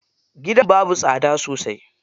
Gidan babu tsada sosai.